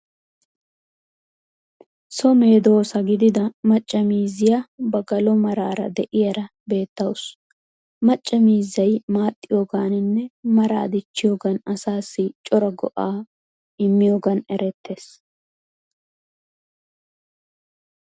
So medoosa gidida macca miizziya ba galo maraara de'iyaara beettawuus. Macca miizzayi maaxxiyogaaninne maraa dichchiyoogan asaassi cora go'aa immiyogan erettees.